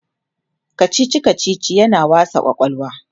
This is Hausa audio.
kachichi kachichi yana wasa kwakwalwa